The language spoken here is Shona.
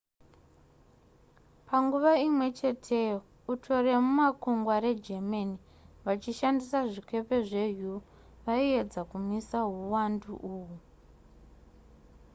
panguva imwecheteyo uto remumakugwa regermany vachishandisa zvikepe zveu vaiedza kumisa hwuwandu uhwu